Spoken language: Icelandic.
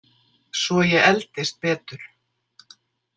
Svo ég eldist betur!